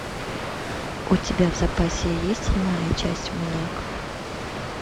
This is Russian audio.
у тебя в запасе есть седьмая часть маньяк